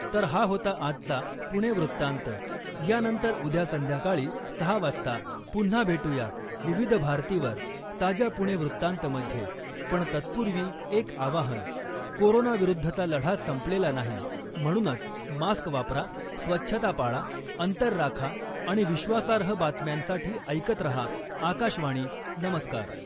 तर हा होता आजचा पुणे वृत्तांत. यानंतर उद्या संध्याकाळी सहा वाजता पुन्हा भेटूया , विविध भारतीवर , ताज्या 'पुणे वृत्तांत'मध्ये , पण तत्पूर्वी एक आवाहन, कोरोना विरुद्धचा लढा संपलेला नाही म्हणूनच मास्क वापरा, स्वच्छता पाळा, अंतर राखा आणि विश्वासार्ह बातम्यांसाठी ऐकत रहा , आकाशवाणी , नमस्कार .